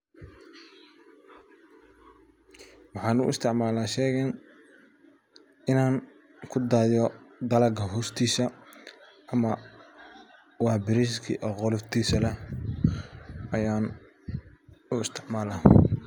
sheygan waa mashin lagu farsameeyo dalagyada gar ahan miraha ama galleyda ama digirta waxa mashiin wax katari karaa beraleyda meshaa aam kusugiuga nahay aad ayay ugu badan gaar ahan xiliyada goosashadada sida loo kala saaro dalaga iyu hooruur ka gaar haan berlayeda heysanin shaqaalaha badan